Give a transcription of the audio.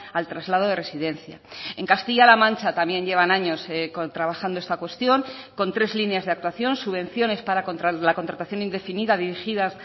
al traslado de residencia en castilla la mancha también llevan años trabajando esta cuestión con tres líneas de actuación subvenciones para la contratación indefinida dirigidas